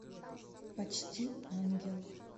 почти ангел